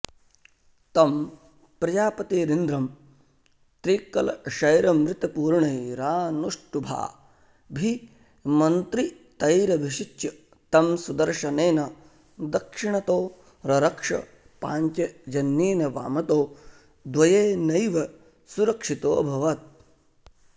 तं प्रजापतिरिन्द्रं त्रिकलशैरमृतपूर्णैरानुष्टुभाभिमन्त्रितैरभिषिच्य तं सुदर्शनेन दक्षिणतो ररक्ष पाञ्चजन्येन वामतो द्वयेनैव सुरक्षितोऽभवत्